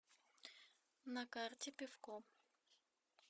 на карте пивко